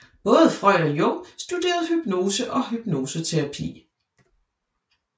Både Freud og Jung studerede hypnose og hypnoseterapi